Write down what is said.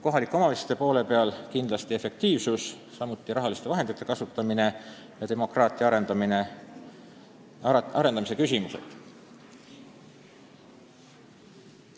Kohalike omavalitsuste poole pealt kindlasti efektiivsus, samuti rahaliste vahendite kasutamine ja demokraatia arendamise küsimused.